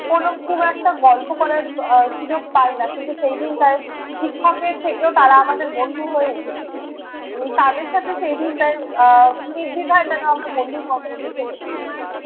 কোনো খুব একটা গল্প করার আহ সুযোগ পাই না। কিন্তু সেই দিনটায় শিক্ষকের থেকেও তাঁরা আমাদের বন্ধু হয়ে উঠেছিলেন। তাঁদের সাথে সেই দিনটায় আহ নির্দ্বিধায় যেনো আমরা বন্ধুর মতনই মিশে গেছিলাম।